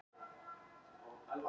Þungur er þegjandi róður.